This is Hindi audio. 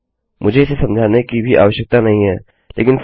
मुझे इसे समझाने की भी आवश्यकता नहीं है लेकिन फिर भी